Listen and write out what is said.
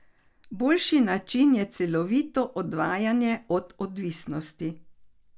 Boljši način je celovito odvajanje od odvisnosti.